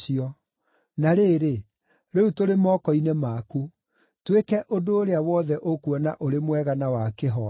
Na rĩrĩ, rĩu tũrĩ moko-inĩ maku. Twĩke ũndũ ũrĩa wothe ũkuona ũrĩ mwega na wa kĩhooto.”